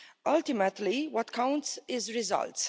Ultimately, what counts is results.